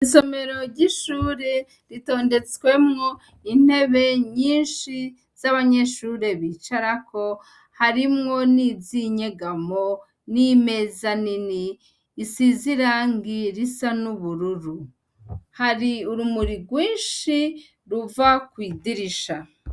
Isomero ry'ishure ritondetswemwo intebe nyinshi z'abanyeshure bicarako harimwo n'izinyegamo n'imeza nini isizirangi risa n'ubururu, hari urumuri rwinshi ruva kwidirisha.